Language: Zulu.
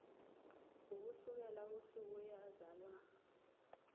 ukusukela usuku eyazalwa